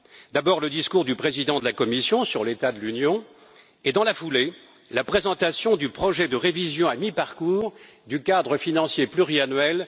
D'abord le discours du président de la Commission sur l'état de l'Union et dans la foulée, la présentation du projet de révision à mi parcours du cadre financier pluriannuel